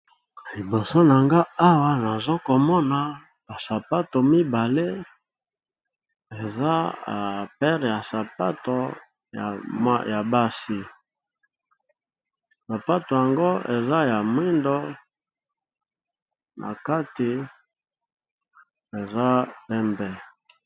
Liboso nangai nazomona basapato mibale eza basapato ya basi eza nalangi ya mwindu pe nakati eza pembe